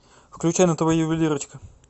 включай на тв ювелирочка